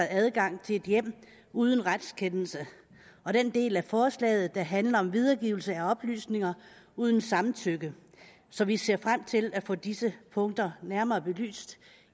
adgang i et hjem uden retskendelse og den del af forslaget der handler om videregivelse af oplysninger uden samtykke så vi ser frem til at få disse punkter nærmere belyst